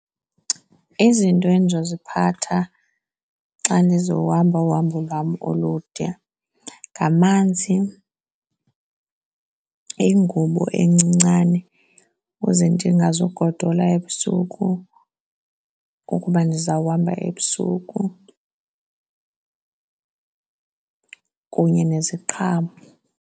Izinto endizoziphatha xa ndizohamba uhambo lwam olude ngamanzi, yingubo encincane kuze ndingazugodola ebusuku ukuba ndizawuhamba ebusuku, kunye neziqhamo.